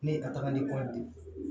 Ne ye a tagali